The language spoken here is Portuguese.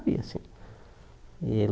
E assim e ele